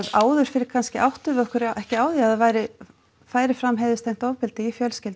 áður fyrr kannski áttuðum við okkur ekkert á því að það færi færi fram heiðurstengt ofbeldi í fjölskyldum